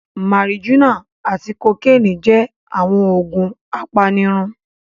Marijuana ati kokeeni jẹ awọn oogun apanirun